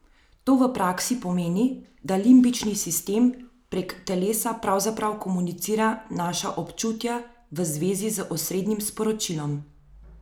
To v praksi pomeni, da limbični sistem prek telesa pravzaprav komunicira naša občutja v zvezi z osrednjim sporočilom.